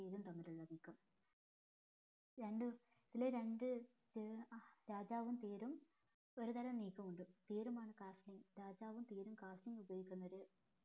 തേരും തമ്മിലുള്ള നീക്കം രണ്ടു ഇതിലെ രണ്ട് രാജാവും തേരും ഒരുതരം നീക്കം ഉണ്ട് തേര്മാണ് castling രാജാവും തേരും castling ഉപയോഗിക്കുന്നത്